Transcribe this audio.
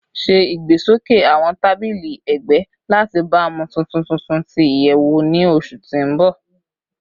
Ṣe igbesoke awọn tabili ẹgbẹ lati baamu tuntun tuntun ti iyẹwu ni oṣu ti n bọ